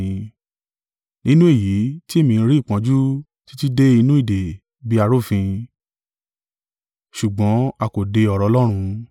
Nínú èyí tí èmi ń rí ìpọ́njú títí dé inú ìdè bí arúfin; ṣùgbọ́n a kò de ọ̀rọ̀ Ọlọ́run.